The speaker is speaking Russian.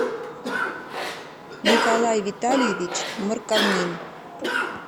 николай витальевич морковнин